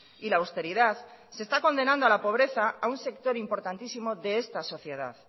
y la austeridad se está condenando a la pobreza a un sector importantísimo de esta sociedad